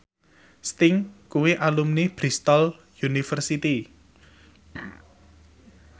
Sting kuwi alumni Bristol university